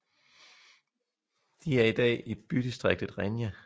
De er i dag i bydistriktet Renhe